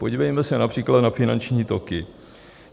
Podívejme se například na finanční toky.